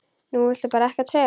Þú vilt bara ekkert segja.